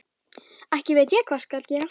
Ekki veit ég hvað gera skal.